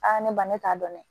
ne ba ne t'a dɔn dɛ